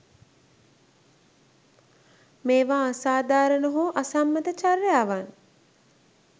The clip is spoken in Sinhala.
මේවා අසාධාරණ හෝ අසම්මත චර්යාවන්